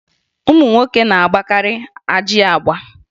Ụmụ nwoke na-agbakarị ajị agba